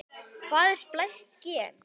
Hvað er splæst gen?